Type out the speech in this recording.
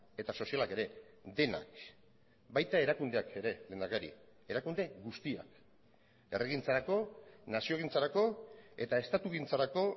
eta sozialak ere denak baita erakundeak ere lehendakari erakunde guztiak erregintzarako naziogintzarako eta estatugintzarako